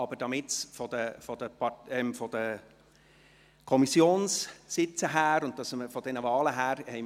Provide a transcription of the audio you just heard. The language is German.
Wir mussten es aber wegen der Kommissionssitze und der entsprechenden Wahlen so drehen.